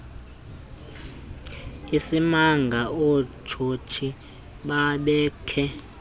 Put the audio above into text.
isimanga ootsotsi babekhe